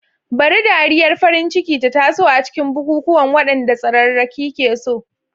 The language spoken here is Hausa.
Bari dariyar farin ciki ta taso a cikin bukukuwan, waɗanda tsararraki ke so.